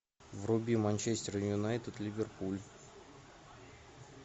вруби манчестер юнайтед ливерпуль